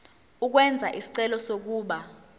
ukwenza isicelo sokuba